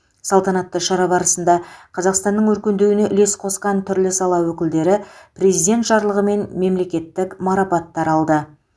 салтанатты шара барысында қазақстанның өркендеуіне үлес қосқан түрлі сала өкілдері президент жарлығымен мемлекеттік марапаттар алды